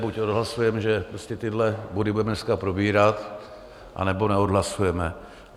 Buď odhlasujeme, že tyhle body budeme dneska probírat, anebo neodhlasujeme.